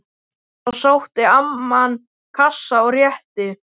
Þá sótti amman kassa og rétti